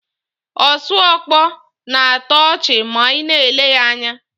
Osuọkpọ na-atọ ọchị ma ị na-ele ya anya.